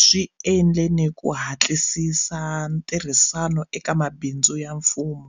swi endle ni ku hatlisisa ntirhisano eka mabindzu ya mfumo.